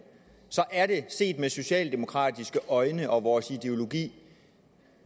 så er det set med socialdemokratiske øjne og vores ideologi